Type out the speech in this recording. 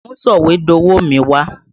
Mú sọ̀wédowó mi wá!